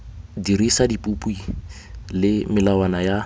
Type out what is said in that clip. dirisa dipopi le melawana ya